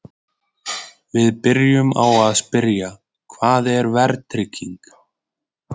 Við byrjuðum á að spyrja: Hvað er verðtrygging?